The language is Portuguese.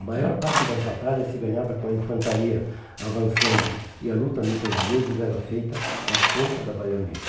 A maior parte das batalhas se ganhava com a infantaria avançando e a luta muitas vezes era feita na ponta da baioneta.